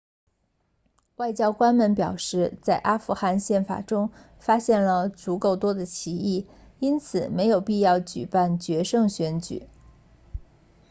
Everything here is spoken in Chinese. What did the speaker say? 外交官们表示在阿富汗宪法中发现了足够多的歧义因此没有必要举办决胜选举